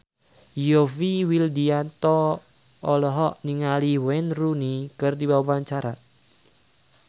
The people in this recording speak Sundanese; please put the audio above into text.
Yovie Widianto olohok ningali Wayne Rooney keur diwawancara